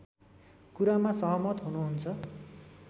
कुरामा सहमत हुनुहुन्छ